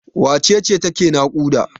Wace ce take naƙuda?